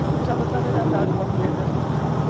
através de uma cunha dessa, você sabe.